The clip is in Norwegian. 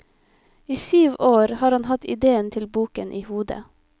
I syv år har han hatt idéen til boken i hodet.